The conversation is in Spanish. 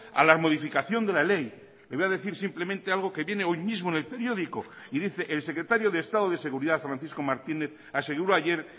a la modificación de la ley le voy a decir simplemente algo que viene hoy mismo en el periódico y dice el secretario de estado de seguridad francisco martínez aseguró ayer